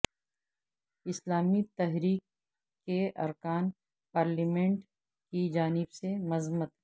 اسلامی تحریک کے ارکان پارلیمنٹ کی جانب سے مذمت